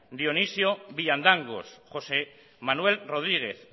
dionisio villandangos josé manuel rodríguez